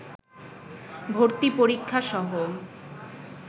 ভর্তি পরীক্ষাসহ